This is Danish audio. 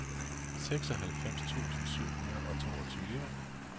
seksoghalvfems tusind syv hundrede og toogtyve